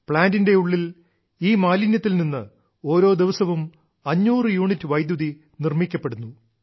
പ്ലാന്റിന്റെ ഉള്ളിൽ ഈ മാലിന്യത്തിൽ നിന്ന് ഓരോ ദിവസവും 500 യൂണിറ്റ് വൈദ്യുതി നിർമ്മിക്കപ്പെടുന്നു